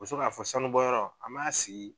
k'a fɔ sanu bɔyɔrɔ an b'a sigi